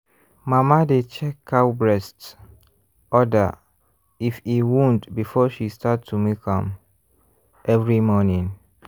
mama dey check cow breast (udder) if e wound before she start to milk am every morning.